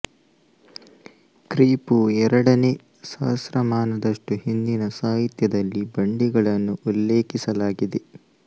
ಕ್ರಿ ಪೂ ಎರಡನೇ ಸಹಸ್ರಮಾನದಷ್ಟು ಹಿಂದಿನ ಸಾಹಿತ್ಯದಲ್ಲಿ ಬಂಡಿಗಳನ್ನು ಉಲ್ಲೇಖಿಸಲಾಗಿದೆ